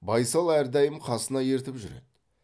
байсал әрдайым қасына ертіп жүреді